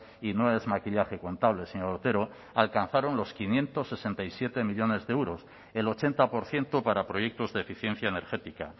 y no es maquillaje contable señor otero alcanzaron los quinientos sesenta y siete millónes de euros el ochenta por ciento para proyectos de eficiencia energética